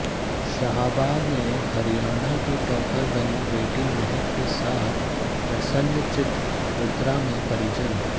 शाहाबाद में हरियाणा की टॉपर बनी बेटी महक के साथ प्रसन्नचित मुद्रा में परिजन